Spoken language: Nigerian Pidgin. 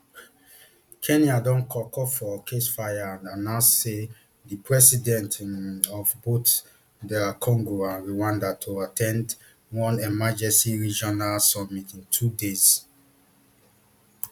kenya don call call for ceasefire and announce say di presidents um of both dr congo and rwanda to at ten d one emergency regional summit in two days